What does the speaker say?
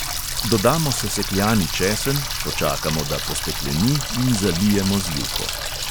Dodamo sesekljani česen, počakamo, da postekleni, in zalijemo z juho.